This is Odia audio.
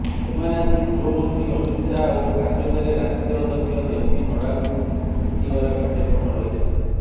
ଏମାନେ ଆଜି ଗୃହମନ୍ତ୍ରୀ ଅମିତ ଶାହା ଓ କାର୍ଯ୍ୟକାରୀ ରାଷ୍ଟ୍ରୀୟ ଅଧ୍ୟକ୍ଷ ଜେପି ନଡ୍ଡାଙ୍କୁ ଭେଟିବାର କାର୍ଯ୍ୟକ୍ରମ ରହିଛି